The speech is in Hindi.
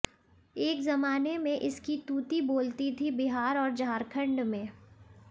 एक ज़माने में इसकी तूती बोलती थी बिहार और झारखण्ड में